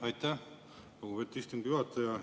Aitäh, lugupeetud istungi juhataja!